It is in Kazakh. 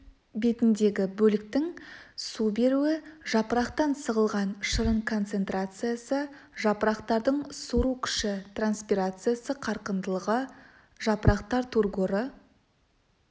бетіндегі бөліктің су беруі жапырақтан сығылған шырын концентрациясы жапырақтардың сору күші транспирация қарқындылығы жапырақтар тургоры